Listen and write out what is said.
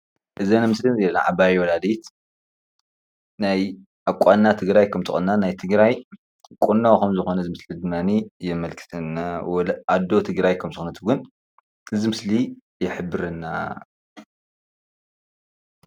እዛ ምስሊ ናይ ዓባይ ወላዲት ናይ ኣቋንና ትግራይ ከም ዝተቖነና ናይ ትግራይ ቁኖ ከም ዝኾነ እዚ ምስሊ ድማኒ የመልክተና። ኣዶ ትግራይ ከም ዝኮነት እውን ይሕብረና፡፡